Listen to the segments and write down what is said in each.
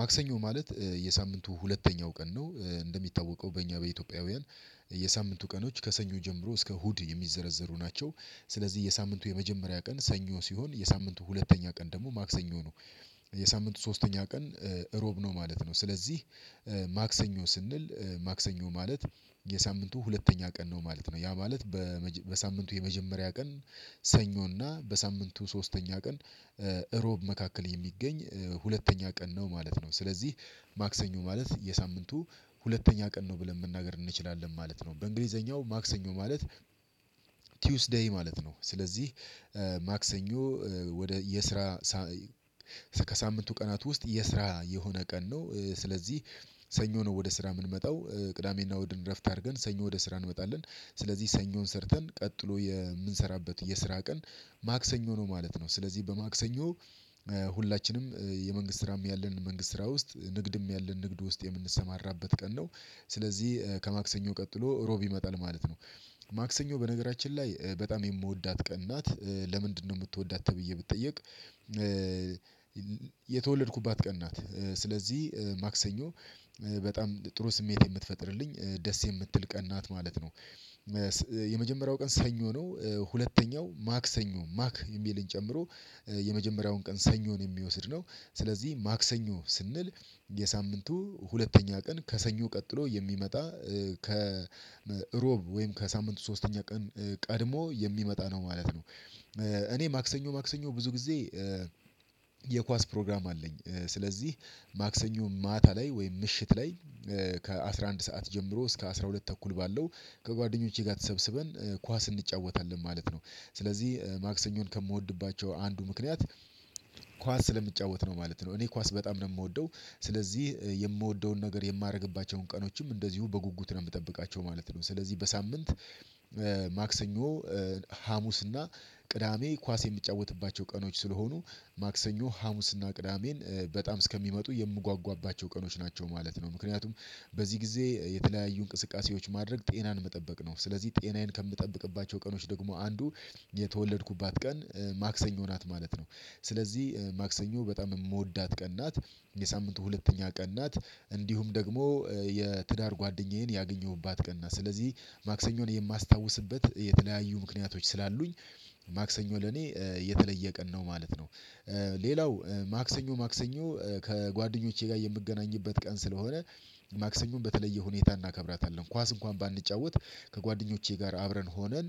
ማክሰኞ ማለት የሳምንቱ ሁለተኛው ቀን ነው። እንደሚታወቀው በእኛ በኢትዮጵያውያን የሳምንቱ ቀኖች ከሰኞ ጀምሮ እስከ እሁድ የሚዘረዘሩ ናቸው። ስለዚህ የሳምንቱ የመጀመሪያ ቀን ሰኞ ሲሆን የሳምንቱ ሁለተኛ ቀን ደግሞ ማክሰኞ ነው። የሳምንቱ ሶስተኛ ቀን እሮብ ነው ማለት ነው። ስለዚህ ማክሰኞ ስንል ማክሰኞ ማለት የሳምንቱ ሁለተኛ ቀን ነው ማለት ነው። ያ ማለት በሳምንቱ የመጀመሪያ ቀን ሰኞና በሳምንቱ ሶስተኛ ቀን እሮብ መካከል የሚገኝ ሁለተኛ ቀን ነው ማለት ነው። ስለዚህ ማክሰኞ ማለት የሳምንቱ ሁለተኛ ቀን ነው ብለን መናገር እንችላለን ማለት ነው። በእንግሊዘኛው ማክሰኞ ማለት ቲዩስ ዴይ ማለት ነው። ስለዚህ ማክሰኞ ወደየስራ ከሳምንቱ ቀናት ውስጥ የስራ የሆነ ቀን ነው። ስለዚህ ሰኞ ነው ወደ ስራ የምንመጣው። ቅዳሜና እሁድን እረፍት አድርገን ሰኞ ወደ ስራ እንመጣለን። ስለዚህ ሰኞን ሰርተን ቀጥሎ የምንሰራበት የስራ ቀን ማክሰኞ ነው ማለት ነው። ስለዚህ በማክሰኞ ሁላችንም የመንግስት ስራም ያለን መንግስት ስራ ውስጥ ንግድም ያለን ንግድ ውስጥ የምንሰማራበት ቀን ነው። ስለዚህ ከማክሰኞ ቀጥሎ እሮብ መጣል ማለት ነው። ማክሰኞ በነገራችን ላይ በጣም የምወዳት ቀን ናት። ለምንድን ነው? የምትወዳት ተብዬ ብጠየቅ የተወለድኩባት ቀን ናት። ስለዚህ ማክሰኞ በጣም ጥሩ ስሜት የምትፈጥርልኝ ደስ የምትል ቀን ናት ማለት ነው። የመጀመሪያው ቀን ሰኞ ነው። ሁለተኛው ማክሰኞ ማክ የሚልን ጨምሮ የመጀመሪያውን ቀን ሰኞን የሚወስድ ነው። ስለዚህ ማክሰኞ ስንል የሳምንቱ ሁለተኛ ቀን ከሰኞ ቀጥሎ የሚመጣ ከእሮብ ወይም ከሳምንቱ ሶስተኛ ቀን ቀድሞ የሚመጣ ነው ማለት ነው። እኔ ማክሰኞ ማክሰኞ ብዙ ጊዜ የኳስ ፕሮግራም አለኝ። ስለዚህ ማክሰኞ ማታ ላይ ወይም ምሽት ላይ ከአሥራ አንድ ሰዓት ጀምሮ እስከ አስራ ሁለት ተኩል ባለው ከጓደኞቼ ጋር ተሰብስበን ኳስ እንጫወታለን ማለት ነው። ስለዚህ ማክሰኞን ከምወድባቸው አንዱ ምክንያት ኳስ ስለምጫወት ነው ማለት ነው። እኔ ኳስ በጣም ነው የምወደው። ስለዚህ የምወደውን ነገር የማደርግባቸውን ቀኖችም እንደዚሁ በጉጉት ነው የምጠብቃቸው ማለት ነው። ስለዚህ በሳምንት ማክሰኞ ሀሙስ እና ቅዳሜ ኳስ የምጫወትባቸው ቀኖች ስለሆኑ ማክሰኞ ሀሙስና ቅዳሜን በጣም እስከሚመጡ የምጓጓባቸው ቀኖች ናቸው ማለት ነው። ምክንያቱም በዚህ ጊዜ የተለያዩ እንቅስቃሴዎች ማድረግ ጤናን መጠበቅ ነው። ስለዚህ ጤናዬን ከምጠብቅባቸው ቀኖች ደግሞ አንዱ የተወለድኩባት ቀን ማክሰኞ ናት ማለት ነው። ስለዚህ ማክሰኞ በጣም የምወዳት ቀን ናትየሳምንቱ ሁለተኛ ቀን ናት እንዲሁም ደግሞ የትዳር ጓደኛዬን ያገኘሁባት ቀን ናት። ስለዚህ ማክሰኞን የማስታውስበት የተለያዩ ምክንያቶች ስላሉኝ ማክሰኞ ለኔ የተለየ ቀን ነው ማለት ነው። ሌላው ማክሰኞ ማክሰኞ ከጓደኞቼ ጋር የምገናኝበት ቀን ስለሆነ ማክሰኞን በተለየ ሁኔታ እናከብራታለን። ኳስ እንኳን ባንጫወት ከጓደኞቼ ጋር አብረን ሆነን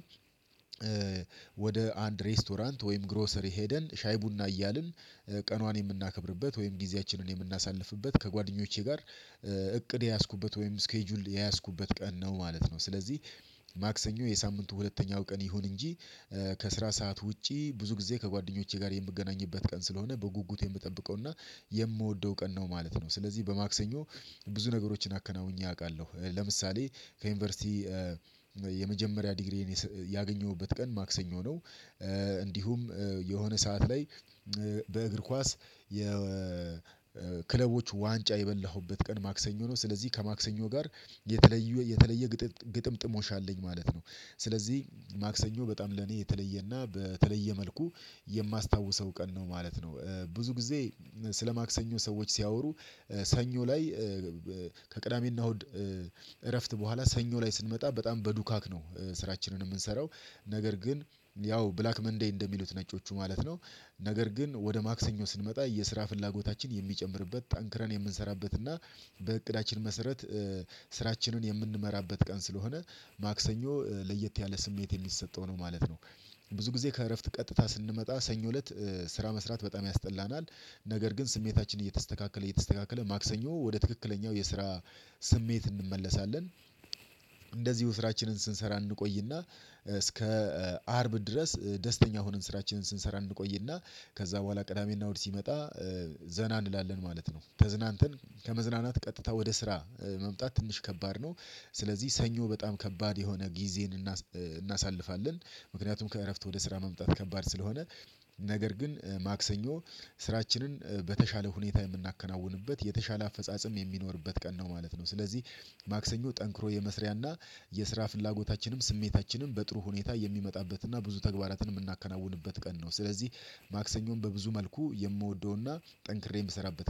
ወደ አንድ ሬስቶራንት ወይም ግሮሰሪ ሄደን ሻይ ቡና እያልን ቀኗን የምናከብርበት ወይም ጊዜያችንን የምናሳልፍበት ከጓደኞቼ ጋር እቅድ የያዝኩበት ወይም ስኬጁል የያዝኩበት ቀን ነው ማለት ነው። ስለዚህ ማክሰኞ የሳምንቱ ሁለተኛው ቀን ይሁን እንጂ ከስራ ሰዓት ውጪ ብዙ ጊዜ ከጓደኞቼ ጋር የምገናኝበት ቀን ስለሆነ በጉጉት የምጠብቀውና የምወደው ቀን ነው ማለት ነው። ስለዚህ በማክሰኞ ብዙ ነገሮችን አከናውኜ አውቃለሁ። ለምሳሌ ከዩኒቨርሲቲ የመጀመሪያ ዲግሪዬን ያገኘሁበት ቀን ማክሰኞ ነው እንዲሁም የሆነ ሰዓት ላይ በእግር ኳስ የክለቦች ዋንጫ የበላሁበት ቀን ማክሰኞ ነው። ስለዚህ ከማክሰኞ ጋር የተለየ የተለየ ግጥምጥሞሽ አለኝ ማለት ነው። ስለዚህ ማክሰኞ በጣም ለኔ የተለየና በተለየ መልኩ የማስታውሰው ቀን ነው ማለት ነው። ብዙ ጊዜ ስለ ማክሰኞ ሰዎች ሲያወሩ ሰኞ ላይ ከቅዳሜና እሁድ እረፍት በኋላ ሰኞ ላይ ስንመጣ በጣም በዱካክ ነው ስራችንን የምንሰራው። ነገር ግን ያው ብላክ መንዴይ እንደሚሉት ነጮቹ ማለት ነው። ነገር ግን ወደ ማክሰኞ ስንመጣ የስራ ፍላጎታችን የሚጨምርበት ጠንክረን የምንሰራበት እና በእቅዳችን መሰረት ስራችንን የምንመራበት ቀን ስለሆነ ማክሰኞ ለየት ያለ ስሜት የሚሰጠው ነው ማለት ነው። ብዙ ጊዜ ከእረፍት ቀጥታ ስንመጣ ሰኞ እለት ስራ መስራት በጣም ያስጠላናል። ነገር ግን ስሜታችን እየተስተካከለ እየተስተካከለ ማክሰኞ ወደ ትክክለኛው የስራ ስሜት እንመለሳለን። እንደዚሁ ስራችንን ስንሰራ እንቆይና እስከ አርብ ድረስ ደስተኛ ሆነን ስራችንን ስንሰራ እንቆይና ከዛ በኋላ ቅዳሜና እሁድ ሲመጣ ዘና እንላለን ማለት ነው። ተዝናንተን ከመዝናናት ቀጥታ ወደ ስራ መምጣት ትንሽ ከባድ ነው። ስለዚህ ሰኞ በጣም ከባድ የሆነ ጊዜን እናሳልፋለን። ምክንያቱም ከእረፍት ወደ ስራ መምጣት ከባድ ስለሆነ ነገር ግን ማክሰኞ ስራችንን በተሻለ ሁኔታ የምናከናውንበት የተሻለ አፈጻጸም የሚኖርበት ቀን ነው ማለት ነው። ስለዚህ ማክሰኞ ጠንክሮ የመስሪያና የስራ ፍላጎታችንም ስሜታችንም በጥሩ ሁኔታ የሚመጣበትና ብዙ ተግባራትን የምናከናውንበት ቀን ነው። ስለዚህ ማክሰኞን በብዙ መልኩ የምወደውና ጠንክሬ የምሰራበት